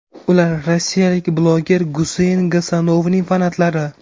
Ular rossiyalik bloger Guseyn Gasanovning fanatlari.